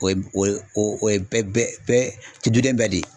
O ye o ye bɛɛ bɛɛ duden bɛɛ de ye.